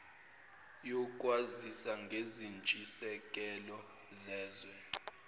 yokwazisa ngezintshisekelo zezwe